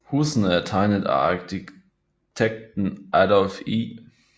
Husene er tegnet af arkitekten Adolph E